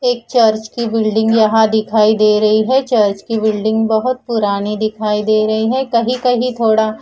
एक चर्च की बिल्डिंग यहाँ दिखाई दे रही है चर्च की बिल्डिंग बहुत पुरानी दिखाई दे रही है कहीं कहीं थोड़ा--